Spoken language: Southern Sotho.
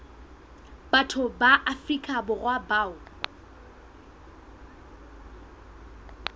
batho ba afrika borwa bao